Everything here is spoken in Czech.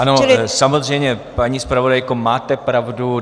Ano samozřejmě, paní zpravodajko, máte pravdu.